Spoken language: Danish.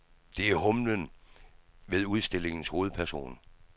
Det er humlen ved udstillingens hovedperson.